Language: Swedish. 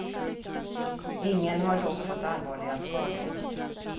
Ingen har dock fått allvarliga skador.